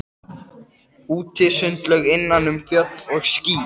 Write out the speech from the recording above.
Útisundlaug innan um fjöll og ský.